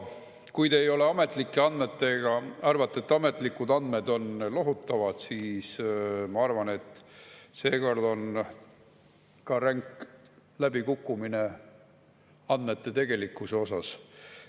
Kui te arvate, et ametlikud andmed on lohutavad, siis ma arvan, et seekord on ränk läbikukkumine ka tegelike andmete puhul.